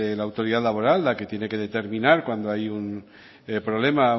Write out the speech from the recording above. la autoridad laboral la que tiene que determinar cuando hay un problema